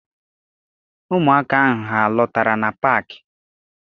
Ụmụaka ahụ alọtara na paakị?